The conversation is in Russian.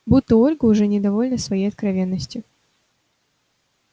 будто ольга уже недовольна своей откровенностью